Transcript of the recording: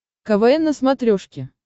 квн на смотрешке